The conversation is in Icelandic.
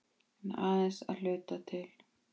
En aðeins að hluta til.